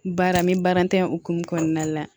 Baara n bɛ baara tɛ hokumun kɔnɔna la